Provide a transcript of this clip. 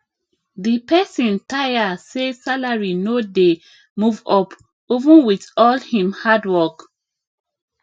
the person tire say salary no dey move up even with all him hard work